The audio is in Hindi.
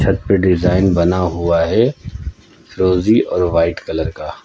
छत पे डिजाइन बना हुआ है फिरोजी और वाइट कलर का।